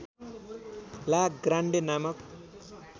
ला ग्रान्डे नामक